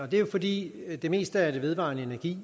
det er jo fordi det meste af den vedvarende energi